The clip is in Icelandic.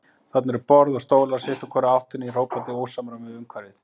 Þarna eru borð og stólar sitt úr hvorri áttinni í hrópandi ósamræmi við umhverfið.